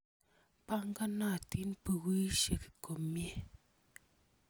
Panganatin pukuisyek komnye.